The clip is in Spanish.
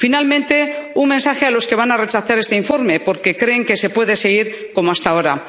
Finalmente, un mensaje para los que van a rechazar este informe porque creen que se puede seguir como hasta ahora.